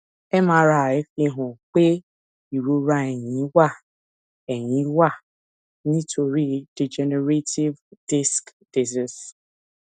mri fihan pe irora ẹyin wa ẹyin wa nitori degenerative disc disease